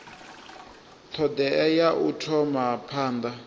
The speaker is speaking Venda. thodea ya u thoma phanda